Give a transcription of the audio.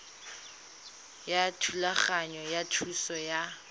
ya thulaganyo ya thuso ya